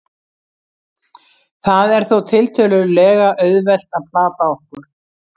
það er þó tiltölulega auðvelt að plata okkur